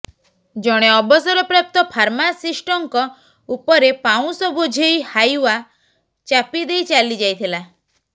ଜଣେ ଅବସରପ୍ରାପ୍ତ ଫାର୍ମାସିଷ୍ଟଙ୍କ ଉପରେ ପାଉଁଶ ବୋଝେଇ ହାଇଓ୍ବା ଚାପି ଦେଇ ଚାଲି ଯାଇଥିଲା